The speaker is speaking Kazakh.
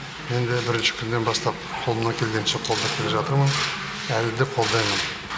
мен де бірінші күннен бастап қолымнан келгенше қолдап келе жатырмын әлі де қолдаймын